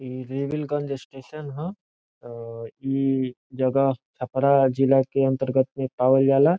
इ Revelganj station ह इ जगह छपरा जिला के अंतर्गत पाईल जाला।